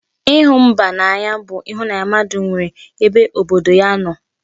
Ịhụ mba n'anya bụ ịhụnanya mmadụ nwere ebe obodo ya nọ